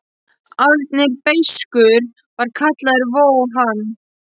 Árni er beiskur var kallaður vó hann.